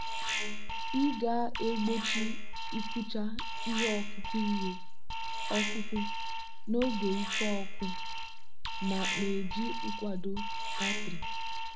ị ga-egbochi ịkụcha ihe ọkụkụ ihe ọkụkụ n'oge ike ọkụ na-eji nkwado batrị.